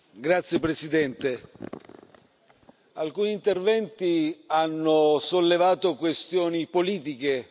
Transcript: Grazie Presidente, alcuni interventi hanno sollevato questioni politiche.